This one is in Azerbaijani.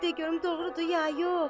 bir də görüm doğrudur, ya yox?